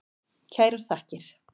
Kærar þakkir.